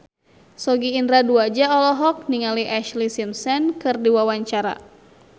Sogi Indra Duaja olohok ningali Ashlee Simpson keur diwawancara